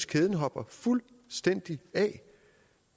kæden hopper fuldstændig af